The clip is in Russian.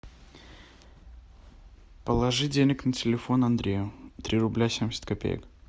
положи денег на телефон андрею три рубля семьдесят копеек